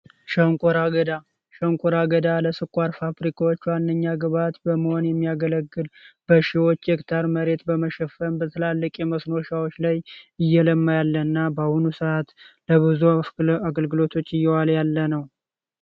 ሸንኮራ ገዳም ሸንኮራ አገዳ ለስኳር ፋብሪካ ግብዓት በመሆን የሚያገለግል መሬት በመሸፈን እና በአሁኑ ሰዓት ለጉዞ አገልግሎቶች እየዋለ ያለ ነው